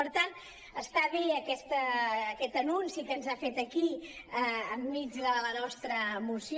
per tant està bé aquest anunci que ens ha fet aquí enmig de la nostra moció